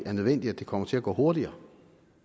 er nødvendigt at det kommer til at gå hurtigere